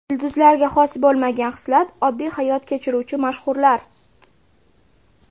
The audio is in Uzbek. Yulduzlarga xos bo‘lmagan xislat: Oddiy hayot kechiruvchi mashhurlar.